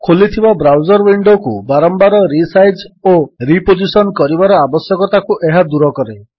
ଖୋଲିଥିବା ବ୍ରାଉଜର୍ ୱିଣ୍ଡୋକୁ ବାରମ୍ୱାର ରିସାଇଜ୍ ଓ ରିପୋଜିଶନ୍ କରିବାର ଆବଶ୍ୟକତାକୁ ଏହା ଦୂର କରେ